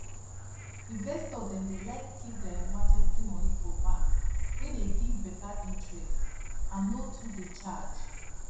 investor dem dey like keep their emergency money for bank wey dey give better interest and no too dey charge